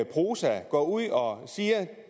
prosa går ud og siger